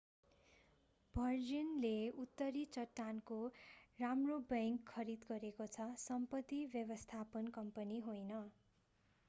भर्जिनले उत्तरी चट्टानको राम्रो बैंक खरिद गरेको छ सम्पत्ति व्यवस्थापन कम्पनी होइन